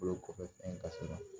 Bolo kɔfɛ fɛn ka suma